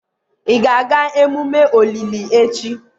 ị ga-aga emume olili echi?